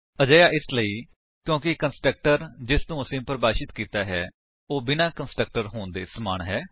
ਅਜਿਹਾ ਇਸਲਈ ਕਿਉਂਕਿ ਕੰਸਟਰਕਟਰ ਜਿਸਨੂੰ ਅਸੀਂ ਪਰਿਭਾਸ਼ਿਤ ਕੀਤਾ ਹੈ ਉਹ ਬਿਨਾਂ ਕੰਸਟਰਕਟਰ ਹੋਣ ਦੇ ਸਮਾਨ ਹੈ